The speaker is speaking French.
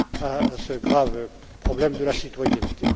à ce grave problème de la citoyenneté.